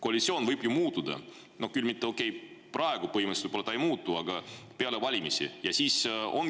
Koalitsioon võib ju muutuda, okei, praegu ta põhimõtteliselt ei muutu, aga peale valimisi.